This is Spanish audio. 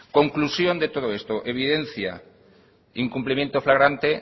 conclusión de todo esto evidencia incumplimiento fragante